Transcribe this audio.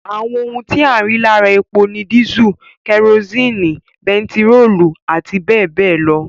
Àwọn ohun tí a rí lára epo ni dísù, kerosini, bentiróòlù àti bẹẹbẹẹ lọ